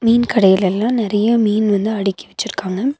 மீன் கடையிளல்லா நெறையா மீன் வந்து அடிக்கி வெச்சுருக்காங்க.